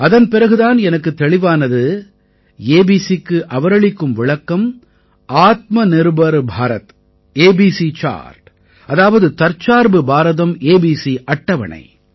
அதன் பிறகு தான் எனக்குத் தெளிவானது ஏபிசி க்கு அவரளிக்கும் விளக்கம் ஆத்மநிர்பர் பாரத் ஏபிசி சார்ட் அதாவது தற்சார்பு பாரதம் ஏபிசி அட்டவணை